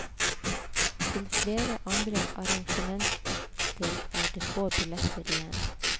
Til flere andre arrangementer er det få billetter igjen.